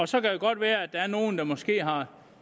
så kan det godt være at der er nogen der måske har